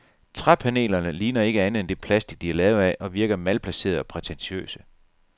Træpanelerne ligner ikke andet end det plastic, de er lavet af og virker malplacerede og prætentiøse.